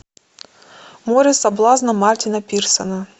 море соблазна мартина пирсона